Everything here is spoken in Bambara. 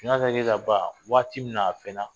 Ɲɛ ka ye ka ban waati min n'a fɛ na